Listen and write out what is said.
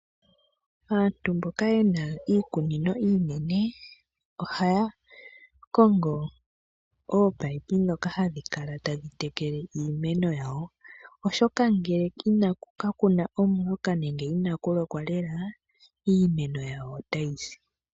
Aantu mboka yena iikunino iinene ohaya kongo oopayipi dhoka hadhi kala tadhi tekele iimeno yawo. Oshoka ngele kakuna omvuka nenge inakulokwa lela, iimeno yawo ota yisi.